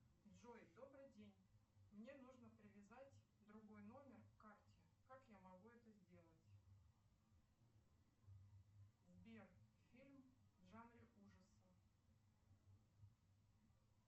джой добрый день мне нужно привязать другой номер к карте как я могу это сделать сбер фильм в жанре ужасы